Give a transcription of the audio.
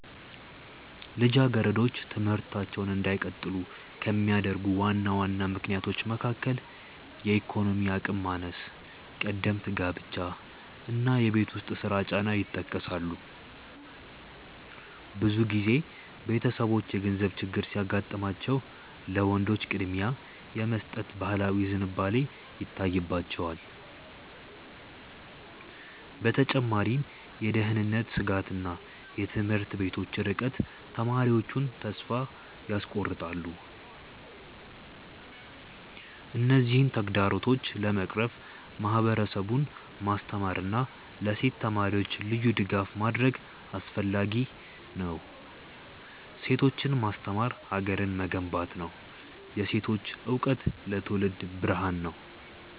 ልጃገረዶች ትምህርታቸውን እንዳይቀጥሉ ከሚያደርጉ ዋና ዋና ምክንያቶች መካከል የኢኮኖሚ አቅም ማነስ፣ ቀደምት ጋብቻ እና የቤት ውስጥ ስራ ጫና ይጠቀሳሉ። ብዙ ጊዜ ቤተሰቦች የገንዘብ ችግር ሲያጋጥማቸው ለወንዶች ቅድሚያ የመስጠት ባህላዊ ዝንባሌ ይታይባቸዋል። በተጨማሪም የደህንነት ስጋትና የትምህርት ቤቶች ርቀት ተማሪዎቹን ተስፋ ያስቆርጣል። እነዚህን ተግዳሮቶች ለመቅረፍ ማህበረሰቡን ማስተማርና ለሴት ተማሪዎች ልዩ ድጋፍ ማድረግ አስፈላጊ ነው። ሴቶችን ማስተማር ሀገርን መገንባት ነው። የሴቶች እውቀት ለትውልድ ብርሃን ነው።